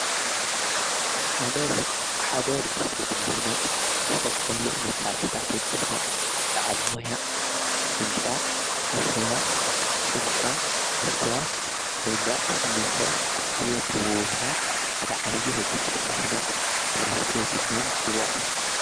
ሓደ ርሊስትን ምህናጽ ዝተፈላለይ መሣርሕታ ኣኣድሊና በዓል ሞያ ሕንጻ ሓሸዋ ጭንጫ መስትዋት መንዳቕ ስሚንቶ እዙዮም ብምውሃድ ሓደ ዓብዪ ሕንጻ ብምህናጽ ርሊስት ኢና ንጽዋዖ።